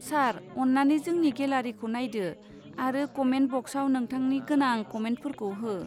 सार, अन्नानै जोंनि गेलारिखौ नायदो आरो कमेन्ट बक्साव नोंथांनि गोनां कमेन्टफोरखौ हो।